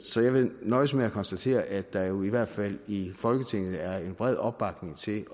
så jeg vil nøjes med at konstatere at der jo i hvert fald i folketinget er en bred opbakning til